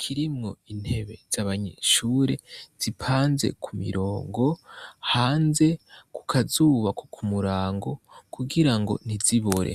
kirimwo intebe z'abanyeshure zipanze ku mirongo, hanze ku kazuba ko kumurango kugirango ntizibore.